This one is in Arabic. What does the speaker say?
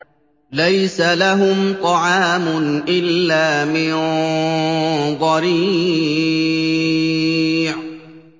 لَّيْسَ لَهُمْ طَعَامٌ إِلَّا مِن ضَرِيعٍ